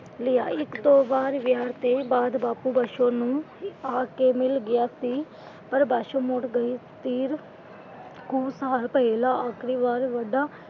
ਲਿਆ ਇੱਕ ਦੋ ਵਾਰ ਵਿਆਹ ਤੋਂ ਬਾਅਦ ਬਾਪੂ ਬਸੋ ਨੂੰ ਆ ਕੇ ਮਿਲ ਗਿਆ ਸੀ। ਪਰ ਬਸੋ ਮੁੜ ਗਈ ਫਿਰ ਕੁਝ ਸਾਲ ਪਹਿਲਾਂ ਆਖ਼ਰੀ ਵਾਰ ਵੱਡਾ,